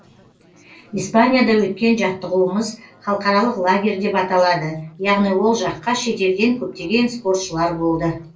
испанияда өткен жаттығуымыз халықаралық лагерь деп аталады яғни ол жаққа шет елден көптеген спортшылар болды